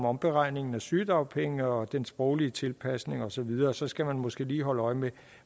omberegning af sygedagpenge og den sproglige tilpasning og så videre så skal man måske lige holde øje med